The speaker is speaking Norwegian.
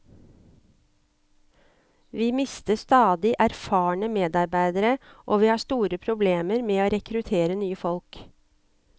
Vi mister stadig erfarne medarbeidere og vi har store problemer med å rekruttere nye folk.